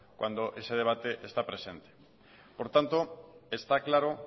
cuando ese debate está presente por tanto está claro